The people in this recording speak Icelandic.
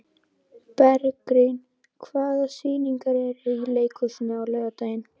Bergrín, hvaða sýningar eru í leikhúsinu á laugardaginn?